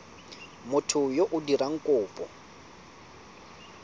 motho yo o dirang kopo